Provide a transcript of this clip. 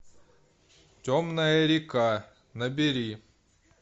темная река набери